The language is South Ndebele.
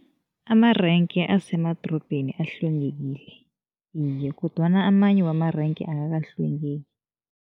Amarenke asemadorobheni ahlwengekile, iye kodwana amanye wamarenke akakahlwengeki.